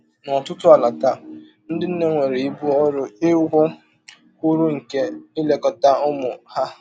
N’ọtụtụ ala taa, ndị nne nwere ibu ọrụ iwụ kwụrụ nke ilekọta ụmụ ha.